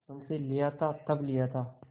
मुंशीलिया था तब लिया था